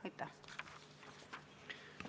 Aitäh!